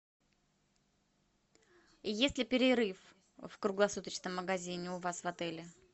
есть ли перерыв в круглосуточном магазине у вас в отеле